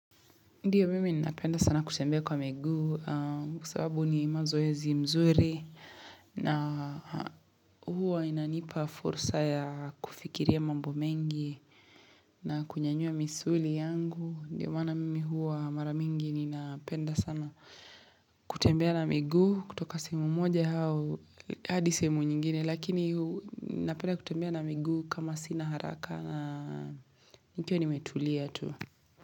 Ndiyo mimi ninapenda sana kutembea kwa miguu kwa sababu ni mazoezi mzuri na huwa inanipa fursa ya kufikiria mambo mengi na kunyanyua misuli yangu. Ndiyo maana mimi huwa mara mingi ninapenda sana kutembea na miguu kutoka semu moja hao hadi sehemu nyingine lakini napenda kutembea na miguu kama sina haraka na nikiwa nimetulia tu.